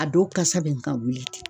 A dow kasa bɛ n ka wuli